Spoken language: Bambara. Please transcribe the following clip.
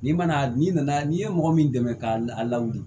N'i ma na n'i nana n'i ye mɔgɔ min dɛmɛ ka lawuli